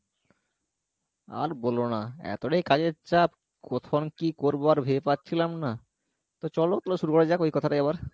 আর বোলো না এতটাই কাজের চাপ কোখন কী কোরবো আর ভেবে পাচ্ছিলাম না তো চলো তালে শুরু করা যাক ওই কথাটাই আবার